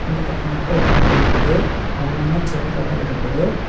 இந்த பக்கம் மாட்ட ஒரு ஆளு நிக்குது அழகான சுவரோட இருக்குது.